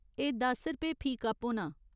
एह् दस रपेऽ फी कप्प होना।